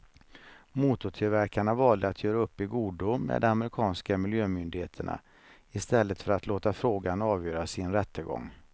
Motortillverkarna valde att göra upp i godo med de amerikanska miljömyndigheterna i stället för att låta frågan avgöras i en rättegång.